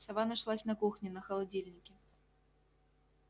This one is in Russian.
сова нашлась на кухне на холодильнике